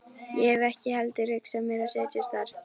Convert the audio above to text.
Ég hef ekki heldur hugsað mér að setjast þar að.